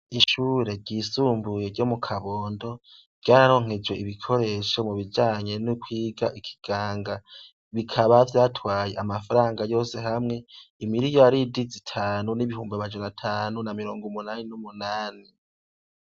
Ishure ryisumbuye ryo mu Kabondo ryararonkejwe ibikoresho mu bijanye no kwiga ikiganga. Bikaba vyatwaye amafaranga yose hamwe, imiriyaridi zitanu n'ibihumbi amajana atanu na mirongo umunani n'umunani.